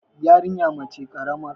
yarinya mace karamar